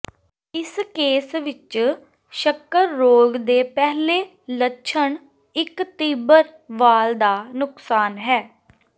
ਇਸ ਕੇਸ ਵਿਚ ਸ਼ੱਕਰ ਰੋਗ ਦੇ ਪਹਿਲੇ ਲੱਛਣ ਇਕ ਤੀਬਰ ਵਾਲ ਦਾ ਨੁਕਸਾਨ ਹੈ